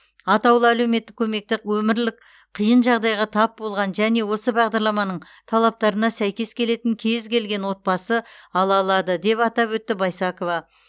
атаулы әлеуметтік көмекті өмірлік қиын жағдайға тап болған және осы бағдарламаның талаптарына сәйкес келетін кез келген отбасы ала алады деп атап өтті байсакова